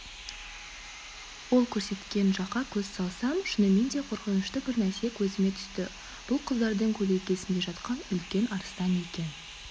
ол көрсеткен жаққа көз салсам шынымен де қорқынышты бір нәрсе көзіме түсті бұл құздардың көлеңкесінде жатқан үлкен арыстан екен